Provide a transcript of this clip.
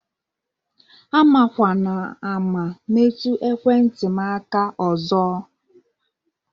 Amakwana ama metụ ekwentị m aka ozo!